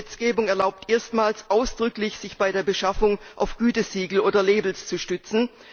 Die neue Gesetzgebung erlaubt erstmals ausdrücklich, sich bei der Beschaffung auf Gütesiegel oder Labels zu stützen.